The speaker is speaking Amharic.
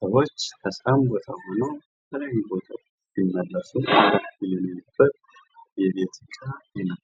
ሰዎች ከስራ ሆነ ከተለያዩ ቦታዎች ሲመለሱ ለማረፍ የሚሆን የቤት እቃ ነው።